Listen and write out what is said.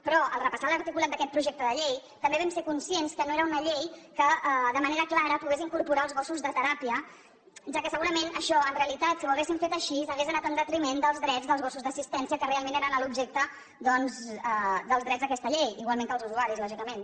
però al repassar l’articulat d’aquest projecte de llei també vam ser conscients que no era una llei que de manera clara pogués incorporar els gossos de teràpia ja que segurament això en realitat si ho haguéssim fet així hauria anat en detriment dels drets dels gossos d’assistència que realment eren l’objecte doncs dels drets d’aquesta llei igualment que els usuaris lògicament